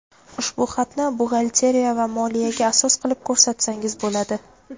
ushbu xatni buxgalteriya va moliyaga asos qilib ko‘rsatsangiz bo‘ladi!.